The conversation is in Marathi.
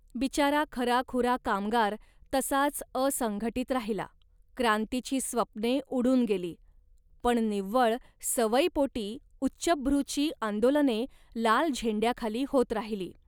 बिचारा खराखुरा कामगार तसाच असंघटित राहिला. क्रांतीची स्वप्ने उडून गेली, पण निव्वळ सवयीपोटी उच्चभ्रूची आंदोलने लाल झेंड्याखाली होत राहिली